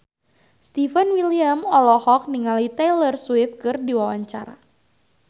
Stefan William olohok ningali Taylor Swift keur diwawancara